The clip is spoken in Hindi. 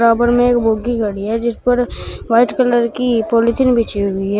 बराबर मे एक बोगी खड़ी है जिसपर वाइट कलर की पॉलिथीन बिछी हुई है।